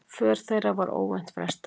För þeirra var óvænt frestað.